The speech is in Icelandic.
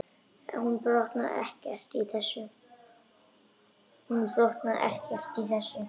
Hún botnaði ekkert í þessu.